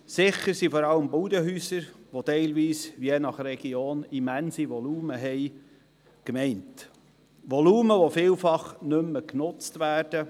Sicher betrifft es vor allem Bauernhäuser, die je nach Region ein immenses Volumen aufweisen, ein Volumen, das heute oft nicht mehr genutzt wird.